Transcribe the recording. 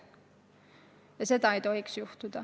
Ja seda ei tohiks olla.